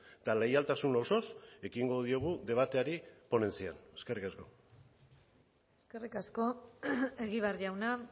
eta leialtasun osoz ekingo diogu debateari ponentzian eskerrik asko eskerrik asko egibar jauna